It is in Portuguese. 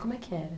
Como é que era?